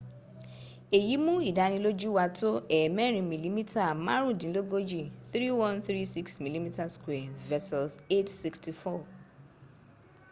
èyí mú ìdánilójú wá tó ẹ̀ẹ̀mẹẹ̀rin mìlímítà márùndínlógójì 3136 mm2 versus 864